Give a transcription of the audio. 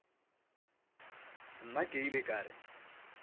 nna ke ile ka re